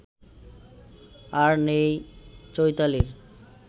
আর নেই চৈতালির